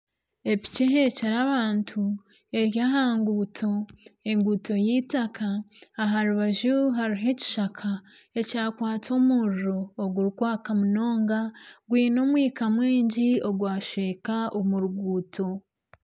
Epiki eheekire abantu eri aha nguuto, enguuto y'eitaka aha rubaju hariho ekishaka ,ekyakwatwa omuriro ogurikwaka munonga gwine omwika mwingi ogwashweka omu ruguuto.